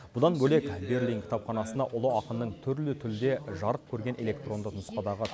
бұдан бөлек берлин кітапханасына ұлы ақынның түрлі тілде жарық көрген электронды нұсқадағы